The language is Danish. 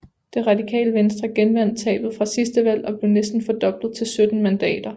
Det Radikale Venstre genvandt tabet fra sidste valg og blev næsten fordoblet til 17 mandater